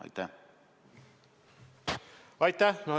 Aitäh!